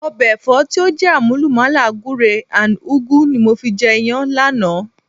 Ọbẹ̀ Ẹ̀fọ́ tí ó jé àmúlùmàlà gùre and ùgu ni mo fi jẹ Iyán lánàá